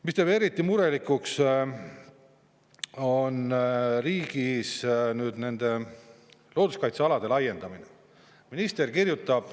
Mis teeb eriti murelikuks, on riigis looduskaitsealade laiendamine.